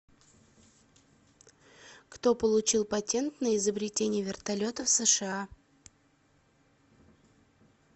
кто получил патент на изобретение вертолета в сша